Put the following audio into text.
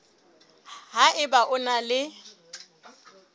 ha eba o na le